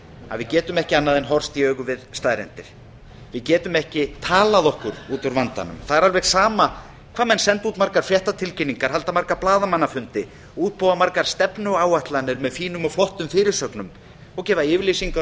að við getum ekki annað en horfst í augu við staðreyndir við getum ekki talað okkur út úr vandanum það er alveg sama hvað menn senda út margar fréttatilkynningar halda marga blaðamannafundi útbúa margar stefnuáætlanir með fínum og flottum fyrirsögnum og gefa yfirlýsingar